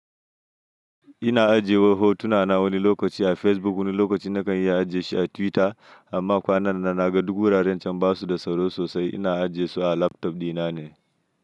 Ina ajiye hotuna na wani lokaci a Facebook wani lokaci nakan iya ajiye shi a Twitter amma kwanan nan na ga duk wuraren cam basu da tsaro sosai ina ajiyesu a laptop ɗina ne.